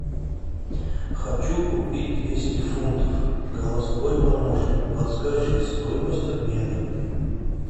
хочу купить двести фунтов голосовой помощник подскажи стоимость обмена